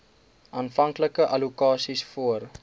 aanvanklike allokasies voor